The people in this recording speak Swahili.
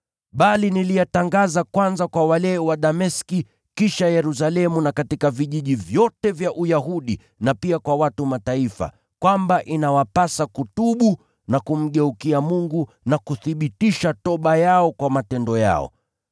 bali niliyatangaza kwanza kwa wale wa Dameski, kisha Yerusalemu na katika vijiji vyote vya Uyahudi na pia kwa watu wa Mataifa, kwamba inawapasa kutubu na kumgeukia Mungu na kuthibitisha toba yao kwa matendo yao.